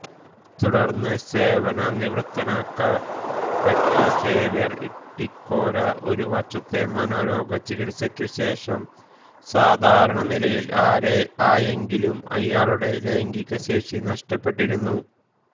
തുടർന്ന് സേവനനിവൃത്തനാക്കപ്പെട്ട സേവ്യർ ഇട്ടിക്കോര ഒരു വർഷത്തെ മനോരോഗചികിത്സയ്ക്കു ശേഷം സാധാരണനിലയിൽ ആയെങ്കിലും അയാളുടെ ലൈംഗികശേഷി നഷ്ടപ്പെട്ടിരുന്നു